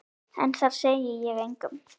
En það segi ég engum.